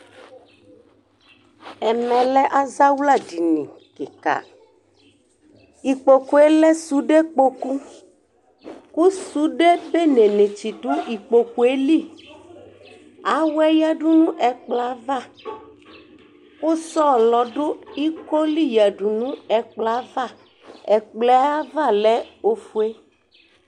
ɛmɛ lɛ azawla dini keka ikpokue lɛ sude kpoku ko sude bene ni tsi do ikpokue li awɛ yadu no ɛkplɔɛ ava kò sɔlɔ do iko li yadu no ɛkplɔɛ ava ɛkplɔɛ ava lɛ ofue